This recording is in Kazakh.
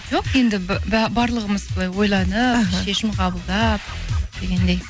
жоқ енді барлығымыз былай ойланып іхі шешім қабылдап дегендей